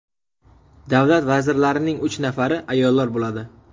Davlat vazirlarining uch nafari ayollar bo‘ladi.